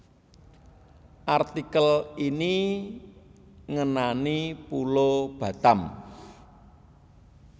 Artikel ini ngenani Pulo Batam